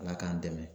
Ala k'an dɛmɛ